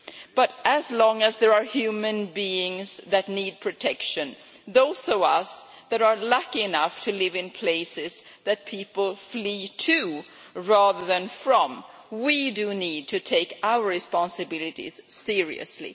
But, as long as there are human beings who need protection, those of us who are lucky enough to live in places that people flee to rather than from, need to take our responsibilities seriously.